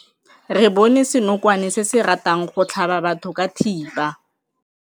Re bone senokwane se se ratang go tlhaba batho ka thipa.